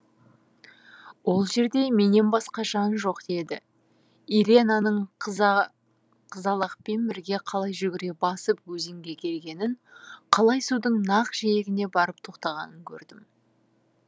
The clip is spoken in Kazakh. ол жерде менен басқа жан жоқ еді иренаның қызалақпен бірге қалай жүгіре басып өзенге келгенін қалай судың нақ жиегіне барып тоқтағанын көрдім